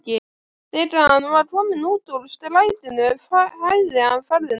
Þegar hann var kominn út úr strætinu hægði hann ferðina.